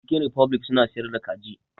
Cikin rifoblik suna siyar da kaji